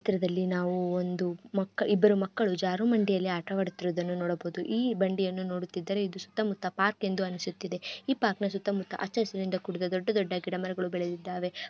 ಈ ಚಿತ್ರದಲ್ಲಿ ನಾವು ಒಂದು ಮಕ್ಕ ಇಬ್ಬರು ಮಕ್ಕಳು ಜಾರಬಂದಡಿಯಲ್ಲಿ ಆಟವಾಡುತ್ತಿರುವುದನ್ನು ನೋಡಬಹುದು. ಈ ಬಂಡಿಯನ್ನು ನೋಡುತ್ತಿದ್ದರೆ ಇದು ಸುತ್ತ ಮುತ್ತ ಪಾರ್ಕ್ ಎಂದು ಅನಿಸುತ್ತಿದೆ. ಈ ಪಾರ್ಕಿನ ಸುತ್ತ ಮುತ್ತ ಹಚ್ಚ ಹಸಿರಿನಿಂದ ಕೂಡಿದ ದೊಡ್ಡ ದೊಡ್ಡ ಗಿಡ ಮರಗಳು ಬೆಳೆದಿದ್ದಾವೆ.